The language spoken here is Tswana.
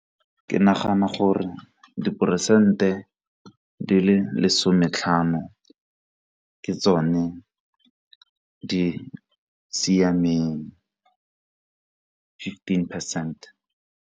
Ke nagana gore diperesente di le lesome tlhano ke tsone di siameng fifteen percent.